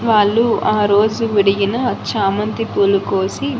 వాళ్లు ఆరోజు విడిగిన చామంతి పూలు కోసి--